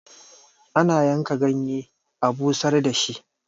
ana yanka ganye a busar da shi